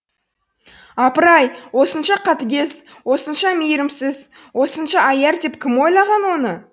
апыр ай осынша қатыгез осынша мейірімсіз осынша аяр деп кім ойлаған оны